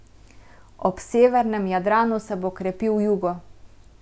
Ob severnem Jadranu se bo krepil jugo.